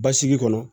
Basigi kɔnɔ